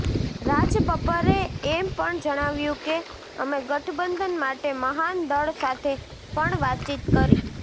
રાજબબ્બરે એમ પણ જણાવ્યું કે અમે ગઠબંધન માટે મહાન દળ સાથે પણ વાતચીત કરી